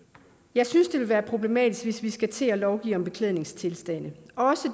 jeg synes det vil være problematisk hvis vi skal til at lovgive om beklædningsgenstande